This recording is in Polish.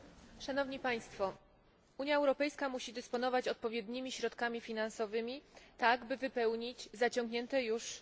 Unia Europejska musi dysponować odpowiednimi środkami finansowymi, by wypełnić zaciągnięte już w przeszłości zobowiązania.